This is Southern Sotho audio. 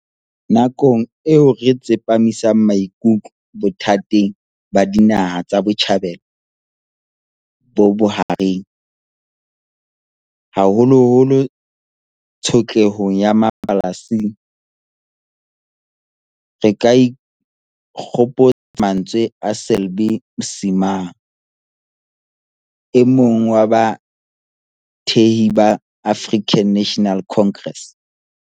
Nakong eo re tsepamisang maikutlo bothateng ba Dinaha tsa Botjhabela bo Bohareng, haholoholo tsho tlehong ya Mapalestina, re ka ikgopotsa mantswe a Selby Msimang, e mong wa bathehi ba African National Congress.